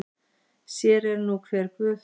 Sér er nú hver guð.